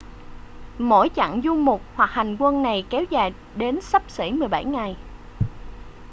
mỗi chặng du mục hoặc hành quân này kéo dài đến xấp xỉ 17 ngày